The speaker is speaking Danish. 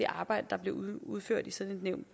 arbejde der bliver udført i sådan et nævn